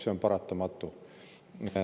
See on paratamatu.